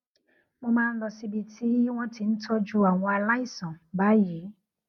mo máa ń lọ síbi tí wón ti ń tójú àwọn aláìsàn báyìí